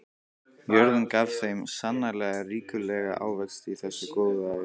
Jörðin gaf þeim sannarlega ríkulega ávexti í þessu góðæri.